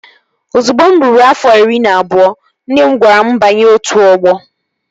Ozugbo mụ ruru afọ iri na abụọ, nne m gwara m banye otu ọgbọ